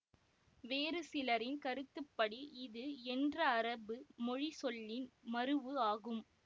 வேறு சிலரின் கருத்துப்படி இது என்ற அரபு மொழி சொல்லின் மரூஉ ஆகும்